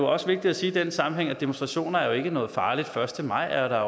også vigtigt at sige i den sammenhæng at demonstrationer jo ikke er noget farligt den første maj er